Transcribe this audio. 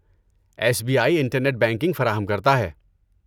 S B I internet banking فراہم کرتا ہے۔